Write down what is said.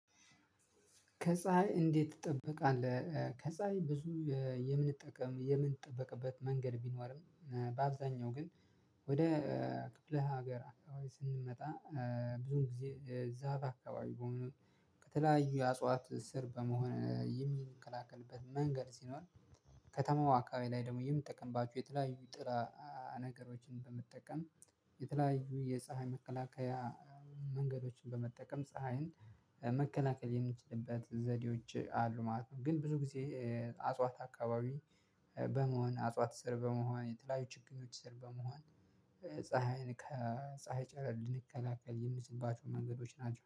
ከፀሀይ እንዴት ትጠበቃለህ? ከፀሀይ ብዙ የምንጠቀም የምንጠበቅበት መንገድ ቢኖርም በአብዛኛው ግን ወደ ክፍለ ሀገር አካባቢ ስንመጣ ብዙ ጊዜ ዛፍ አካባቢ ከሆነ ከተለያዩ የእጽዋት ስር በመሆን የምንላከልበት መንገድ ሲኖር ከተማው አካባቢ ላይ ደግሞ የምንጠቀምባቸው የተለያዩ ጥላ ነገሮችን በመጠቀም የተለያዩ የፀሀይ መከላከያ መንገዶችን በመጠቀም ፀሀይን መከላከል የምንችልበት ዘዴዎች አሉ ማለት ነው። ግን ብዙ ጊዜ እጽዋት አካባቢ በመሆን እጽዋት ስር በመሆን የተለያዩ ችግኞች ስር በመሆን ፀሀይን ከፀሀይ ጨረር ልንከላከል የምንችልባቸው መንገዶች ናቸው